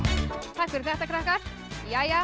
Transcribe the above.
takk fyrir þetta krakkar jæja